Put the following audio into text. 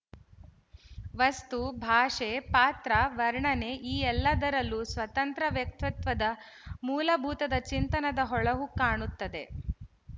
ವಸ್ತು ಭಾಷೆ ಪಾತ್ರ ವರ್ಣನೆ ಈ ಎಲ್ಲದರಲ್ಲೂ ಸ್ವತಂತ್ರ ವ್ಯಕ್ತಿತ್ವದ ಮೂಲಭೂತದ ಚಿಂತನದ ಹೊಳಹು ಕಾಣುತ್ತದೆ